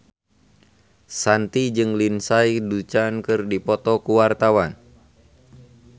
Shanti jeung Lindsay Ducan keur dipoto ku wartawan